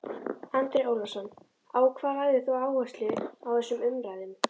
Andri Ólafsson: Á hvað lagðir þú áherslu í þessum umræðum?